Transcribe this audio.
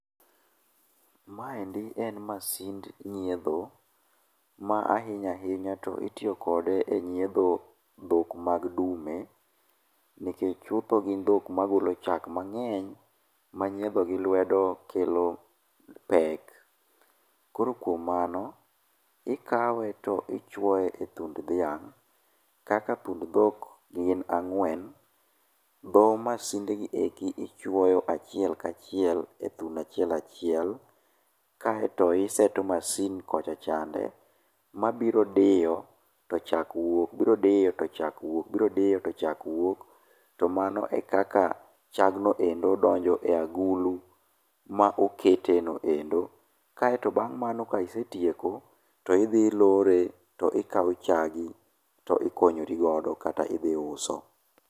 Maendi en masind nyiedho ma ahinya ahinya to itiyo kode e nyiedho dhok mag dume. Nikech chutho gin dhok magolo chak mang'eny ma nyiedho gi lwedo kelo pek. Koro kuom mano, ikawe to ichuoye e thund dhiang' kaka thund dhok gin ang'wen, dho masind ni eri ichuoyo e thuno achiel achiel kaeto iseto masin kocha chande ma biro diyo to chak wuok, biro diyo to chak wuok, biro diyo to chak wuok. To mano ekaka chagno endo donjo e agulu ma okete no endo. Kae to bang' mano ka isetieko, to idhi ilore to ikawo chagi to ikonyori godo kata idhi iuso.